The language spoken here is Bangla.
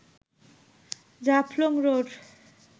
জাফলং রোড